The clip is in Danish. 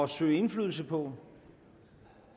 søge indflydelse på